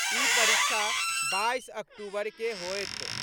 ई परीक्षा बाईस अक्टूबर के होएत।